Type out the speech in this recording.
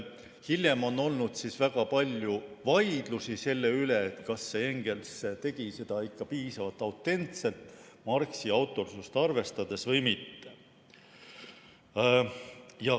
Hiljem on olnud väga palju vaidlusi selle üle, kas Engels tegi seda ikka piisavalt autentselt ja Marxi autorsust arvestades või mitte.